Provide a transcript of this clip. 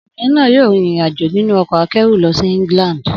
Obìnrin náà yóò rin ìrìn-àjò nínú ọkọ̀ akẹ́rù lọ sí England.